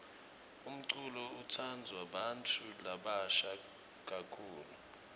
umculo utsandvwa bantfu labasha kakhulu